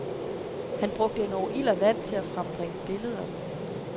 Han brugte endog ild og vand til at frembringe billeder med.